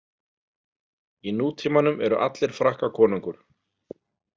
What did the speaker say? Í nútímanum eru allir Frakkakonungur.